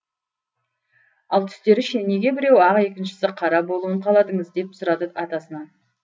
ал түстері ше неге біреуі ақ екіншісі қара болуын қаладыңыз деп сұрады атасынан